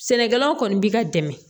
Sɛnɛkɛlaw kɔni b'i ka dɛmɛ